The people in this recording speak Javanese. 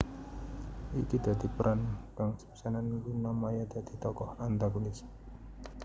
Iki dadi peran kang sepisanan Luna Maya dadi tokoh antagonis